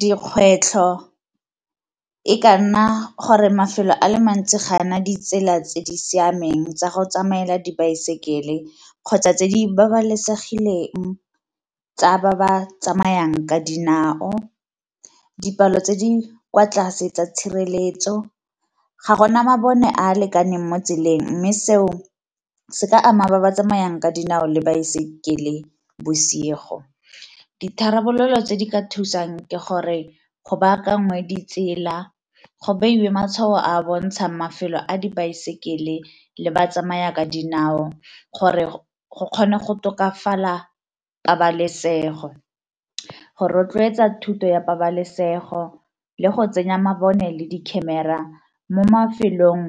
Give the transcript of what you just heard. Dikgwetlho e ka nna gore mafelo a le mantsi ga a na ditsela tse di siameng tsa go tsamaela dibaesekele kgotsa tse di babalesegileng tsa ba ba tsamayang ka dinao, dipalo tse di kwa tlase tsa tshireletso, ga gona mabone a a lekaneng mo tseleng mme seo se ka ama ba ba tsamayang ka dinao le baesekele bosigo. Ditharabololo tse di ka thusang ke gore go bakanngwe ditsela, go beiwe matshwao a bontshang mafelo a dibaesekele le ba tsamaya ka dinao gore go kgone go tokafala pabalesego, go rotloetsa thuto ya pabalesego, le go tsenya mabone le di camera mo mafelong